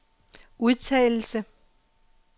udtalelse